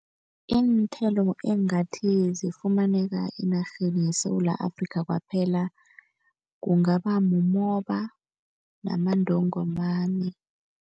Iinthelo engathi zifumaneka enarheni yeSewula Afrikha kwaphela, kungaba mumoba namantongomani.